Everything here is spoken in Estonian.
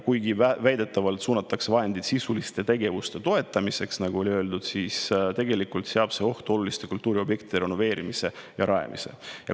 Kuigi väidetavalt suunatakse vahendid sisuliste tegevuste toetamiseks, seab see tegelikult ohtu oluliste kultuuriobjektide renoveerimise ja rajamise.